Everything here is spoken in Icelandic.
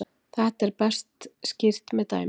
Þetta er best skýrt með dæmi: